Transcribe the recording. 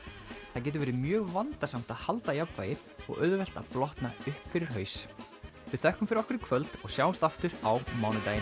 það getur verið mjög vandasamt að halda jafnvægi og auðvelt að blotna upp fyrir haus við þökkum fyrir okkur í kvöld og sjáumst aftur á mánudaginn